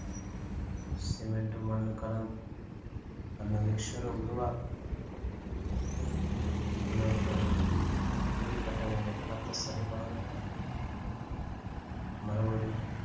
cement உம் மண்ணும் கலந்து அந்த mixture அ உருவாக்கணும் இன்னொருத்தர் வீடு கட்டவேண்டிய நிலத்தை சரி பண்ணணும் மறுபடியும்